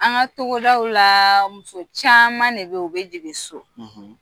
An ka togodaw la muso caman de bɛ yen u bɛ jigin so